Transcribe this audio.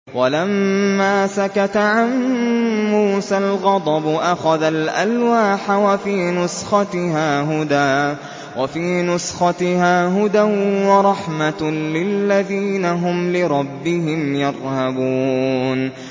وَلَمَّا سَكَتَ عَن مُّوسَى الْغَضَبُ أَخَذَ الْأَلْوَاحَ ۖ وَفِي نُسْخَتِهَا هُدًى وَرَحْمَةٌ لِّلَّذِينَ هُمْ لِرَبِّهِمْ يَرْهَبُونَ